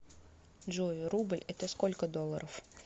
джой рубль это сколько долларов